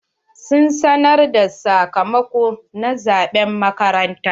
Sun sanar da sakamako na zaɓen makaranta?